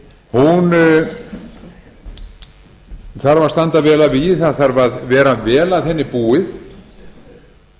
hún þarf að standa vel að vígi það þarf að vera vel að henni búið